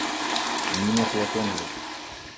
нина платонова